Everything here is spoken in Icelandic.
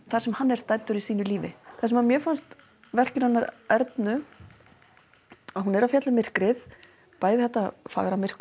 það sem hann er staddur í sínu lífi það sem mér fannst verkið hennar Ernu hún er að fjalla um myrkrið bæði þetta fagra myrkur